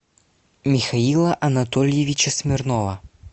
михаила анатольевича смирнова